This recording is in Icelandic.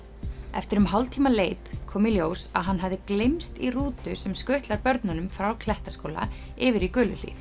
eftir um hálftíma leit kom í ljós að hann hafði gleymst í rútu sem skutlar börnunum frá Klettaskóla yfir í